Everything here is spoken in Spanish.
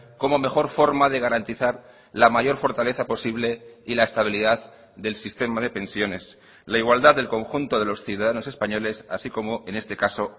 como mejor forma de garantizar la mayor fortaleza posible y la estabilidad del sistema de pensiones la igualdad del conjunto de los ciudadanos españoles así como en este caso